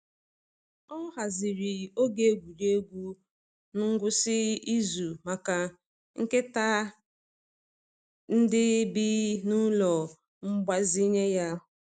Ọ haziri oge egwuregwu n’ngwụsị izu maka nkịta ndị bi n’ụlọ mgbazinye ya.